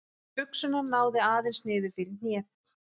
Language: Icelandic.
Buxurnar náðu aðeins niður fyrir hnéð.